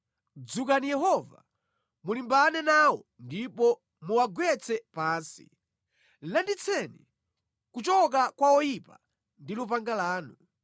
Dzukani Yehova, mulimbane nawo ndipo muwagwetse pansi; landitseni kuchoka kwa oyipa ndi lupanga lanu.